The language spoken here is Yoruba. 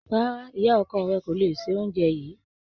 Rárá, ìyá ọkọ rẹ kọ́ ló se oúnjẹ yìí.